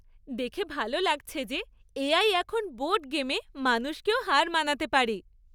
দেখে ভালো লাগছে যে এ.আই এখন বোর্ড গেমে মানুষকেও হার মানাতে পারে।